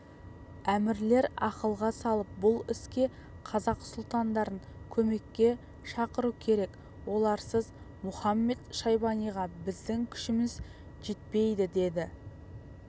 әмірлер ақылға салып бұл іске қазақ сұлтандарын көмекке шақыру керек оларсыз мұхамед-шайбаниға біздің күшіміз жетпейдідеді